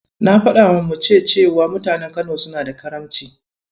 Na faɗawa muce cewa mutanen Kano suna da Karamci.